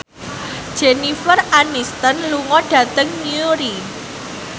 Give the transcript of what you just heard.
Jennifer Aniston lunga dhateng Newry